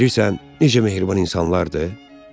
Bilirsən necə mehriban insanlardır?